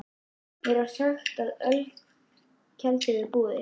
Mér var sagt frá ölkeldu við Búðir.